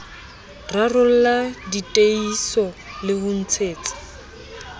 rarollla diteihiso le ho ntsetsa